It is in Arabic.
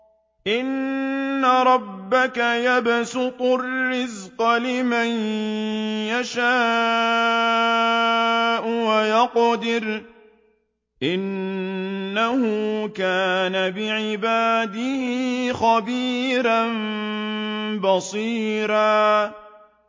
إِنَّ رَبَّكَ يَبْسُطُ الرِّزْقَ لِمَن يَشَاءُ وَيَقْدِرُ ۚ إِنَّهُ كَانَ بِعِبَادِهِ خَبِيرًا بَصِيرًا